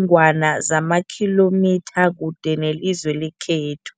ngwana zamakhilomitha kude nelizwe lekhethu.